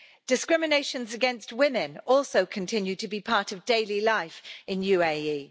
Discriminations against women also continue to be part of daily life in UAE.